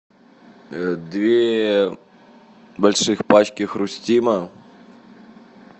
две больших пачки хрустима